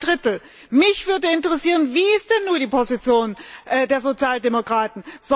Das sind zwei Drittel! Mich würde interessieren Wie ist denn nun die Position der Sozialdemokraten?